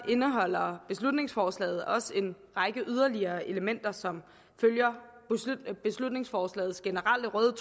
indeholder beslutningsforslaget også en række yderligere elementer som følger beslutningsforslagets generelle røde